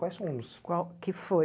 Quais são os... Qual que foi?